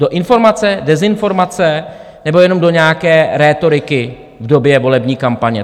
Do informace, dezinformace, nebo jenom do nějaké rétoriky v době volební kampaně?